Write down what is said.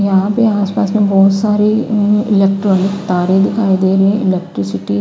यहां पे आस पास में बहोत सारे उम्म इलेक्ट्रॉनिक तारे दिखाई दे रहे इलेक्ट्रिसिटी --